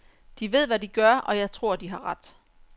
De ved hvad de gør, og jeg tror de har ret.